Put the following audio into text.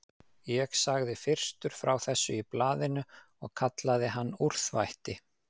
Ég sagði fyrstur frá þessu í blaðinu og kallaði hann úrþvætti.